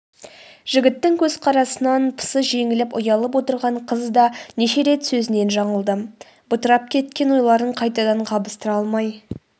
жігіттің көзқарасынан пысы жеңіліп ұялып отырған қыз да неше рет сөзінен жаңылды бытырап кеткен ойларын қайтадан қабыстыра алмай